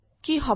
কি হব